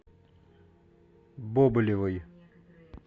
бобылевой